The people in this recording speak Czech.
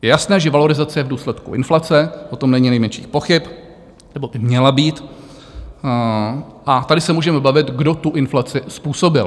Je jasné, že valorizace je v důsledku inflace, o tom není nejmenších pochyb, nebo by měla být, a tady se můžeme bavit, kdo tu inflaci způsobil.